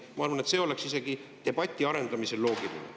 Ma arvan, et see oleks isegi debati arendamisel loogiline.